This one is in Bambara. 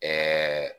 Ɛɛ